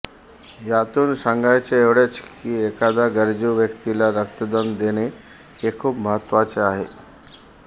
यातून सांगायचे एवढेच की एखाद्या गरजू व्यक्तीला रक्तदान देणे हे खूप महत्त्वाचे आहे